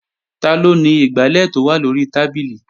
Taló ni igbálẹ̀ tó wà lóri tábìlì?